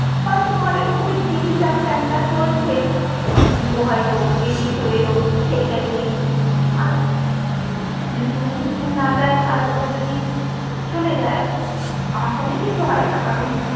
হয়তো ঘরের মধ্যেই TV টা fan টা চলছেই ও হয়তো বেরিয়ে চলে এলো সেটা নিয়ে আর যদি কোনোদিন school না যাই আর ও যদি চলে যাই আমার সঙ্গে কিছু হয়না কারণ